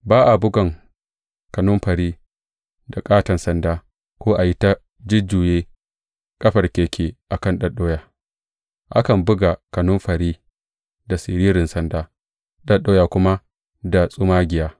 Ba a bugan kanumfari da ƙaton sanda ko a yi ta jujjuye ƙafar keke a kan ɗaɗɗoya; akan buga kanumfari da siririn sanda ɗaɗɗoya kuma da tsumagiya.